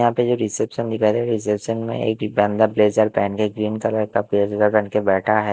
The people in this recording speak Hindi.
यहां पे जो रिसेप्शन रिसेप्सन में बन्दा ब्लेज़र पहनके ग्रीन कलर का बैठा है।